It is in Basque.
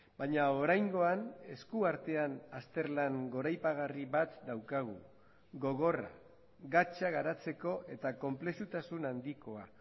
baina oraingoan esku artean azterlan goraipagarri bat daukagu gogorra gatza garatzeko eta konplexutasun handikoa